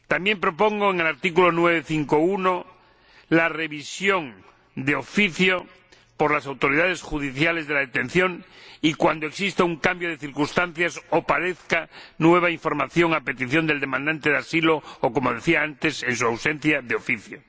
También propongo en el artículo 9, apartado 5, apartado 1, la revisión de oficio, por las autoridades judiciales, de la detención y, cuando exista un cambio de circunstancias o aparezca nueva información, a petición del demandante de asilo o, como decía antes, en su ausencia, de oficio.